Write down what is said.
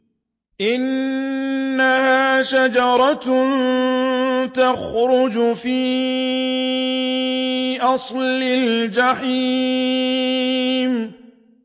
إِنَّهَا شَجَرَةٌ تَخْرُجُ فِي أَصْلِ الْجَحِيمِ